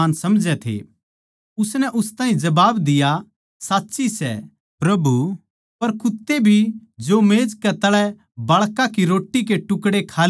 उसनै उस ताहीं जबाब दिया साच्ची सै प्रभु पर कुत्ते भी तो मेज कै तळै बाळकां की रोट्टी के टुकड़े खा लेवैं सै